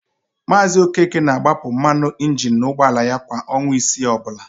Maazị Okeke na-agbapụ mmanụ injini n'ụgbọala ya kwa ọnwa isii ọbụla.